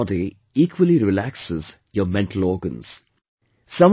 A relaxed body equally relaxes your mental organs